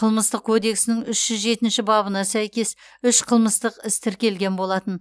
қылмыстық кодексінің үш жүз жетінші бабына сәйкес үш қылмыстық іс тіркелген болатын